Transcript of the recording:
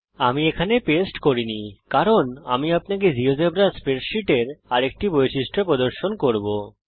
আমি একে পেস্ট করিনি কারণ আমি আপনাকে জীয়োজেব্রা স্প্রেডসীটের আরেকটি বৈশিষ্ট্য প্রদর্শন করব